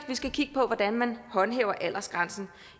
vi skal kigge på hvordan man håndhæver aldersgrænsen